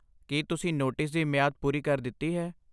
ਕੀ ਤੁਸੀਂ ਨੋਟਿਸ ਦੀ ਮਿਆਦ ਪੂਰੀ ਕਰ ਦਿਤੀ ਹੈ?